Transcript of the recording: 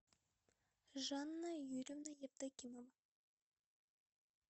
жанна юрьевна евдокимова